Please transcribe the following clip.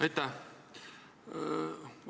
Aitäh!